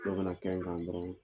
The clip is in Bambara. Dɔ kana kɛ n kan dɔrɔn